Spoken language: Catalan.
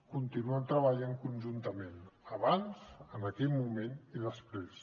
continuem treballant conjuntament abans en aquell moment i després